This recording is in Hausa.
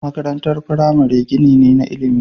Makarantar firamare gini ne na ilimi.